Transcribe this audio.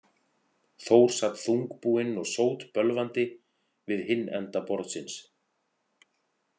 Þór sat þungbúinn og sótbölvandi við hinn enda borðsins.